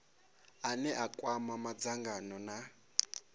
ane a kwama madzangano na